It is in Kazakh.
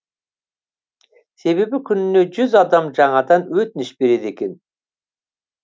себебі күніне жүз адам жаңадан өтініш береді екен